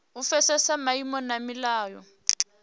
u pfesesa maimo na milayo